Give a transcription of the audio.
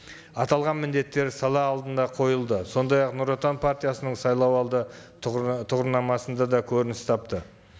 аталған міндеттер сала алдында қойылды сондай ақ нұр отан партиясының сайлау алды тұғырнамасында да көрініс тапты